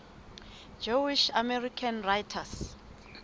jewish american writers